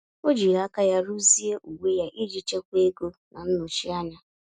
O jiri aka ya ruzie uwe ya iji chekwaa ego na nnọchi anya.